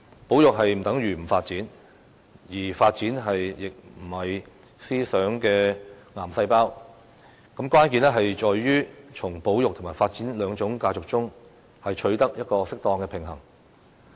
保育不等於不發展，而發展亦並非"思想的癌細胞"，關鍵在於從保育及發展兩種價值中，取得一個適當的平衡。